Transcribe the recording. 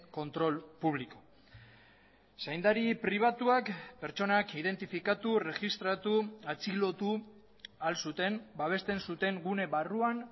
control público zaindari pribatuak pertsonak identifikatu erregistratu atxilotu ahal zuten babesten zuten gune barruan